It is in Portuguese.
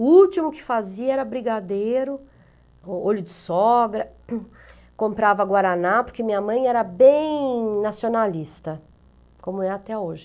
O último que fazia era brigadeiro, olho de sogra, comprava guaraná, porque minha mãe era bem nacionalista, como é até hoje.